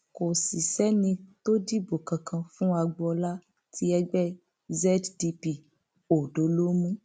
kò sì sẹni tó dìbò kankan fún agboola tí ẹgbẹ zdp ọdọ lọ mú